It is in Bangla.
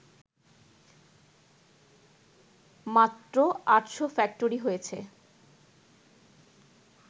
মাত্র আটশো ফ্যাক্টরি হয়েছে